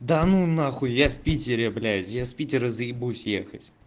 да ну нахуй я в питере блять я с питера заебусь ехать